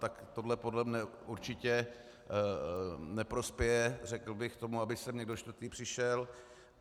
Tak tohle podle mne určitě neprospěje, řekl bych, tomu, aby sem někdo čtvrtý přišel.